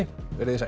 verið þið sæl